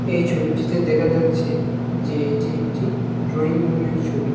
এই ছবিটিতে দেখা যাচ্ছে যে এটি একটি ড্রয়িং রুমের ছবি।